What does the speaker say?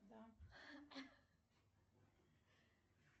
да